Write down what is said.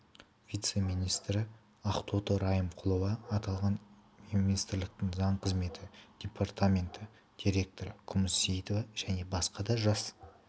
вице-министрі ақтоты райымқұлова аталған министрліктің заң қызметі департаменті директоры күміс сеиітова және басқа да жас